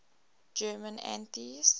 german atheists